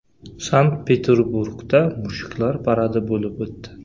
Sankt-Peterburgda mushuklar paradi bo‘lib o‘tdi.